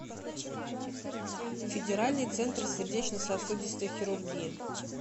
федеральный центр сердечно сосудистой хирургии